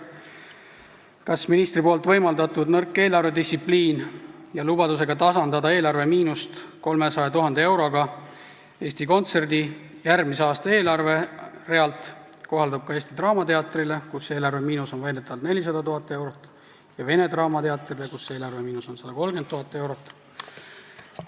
Kas ministri võimaldatud nõrk eelarvedistsipliin lubadusega tasandada eelarvemiinust 300 000 euroga Eesti Kontserdi järgmise aasta eelarve arvel kohaldub ka Eesti Draamateatrile, kus eelarvemiinus on väidetavalt 400 000 eurot, ja Vene Teatrile, kus eelarvemiinus on 130 000 eurot?